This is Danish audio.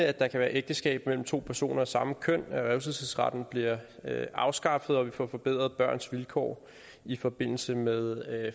at der kan være ægteskab mellem to personer af samme køn at revselsesretten bliver afskaffet og at vi får forbedret børns vilkår i forbindelse med